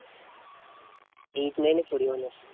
eight nine এ পড়ি মনে হয়।